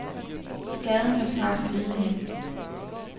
Gaden lå snart øde hen.